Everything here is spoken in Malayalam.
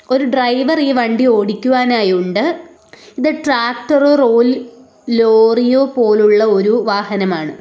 ഒരു ഡ്രൈവർ ഈ വണ്ടി ഓടിക്കുവാനായുണ്ട് ഇത് ട്രാക്ടറോ റോൽ ലോറിയോ പോലുള്ള ഒരു വാഹനമാണ്.